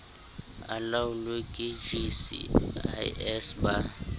a laolwe ke gcis ba